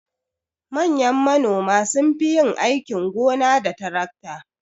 Manyan manoma sunfi yin aikin gona da tarakta.